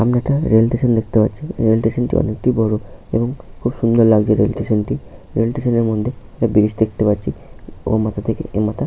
সামনে একটা rail station দেখতে পাচ্ছি। রেল স্টেশন -টি অনেক বড় এবং খুব সুন্দর লাগছে। রেল স্টেশন -টি রেল স্টেশন -এর মধ্যে একটা ব্রিজ দেখতে পাচ্ছি ও মাথা থেকেে এ মাথা ।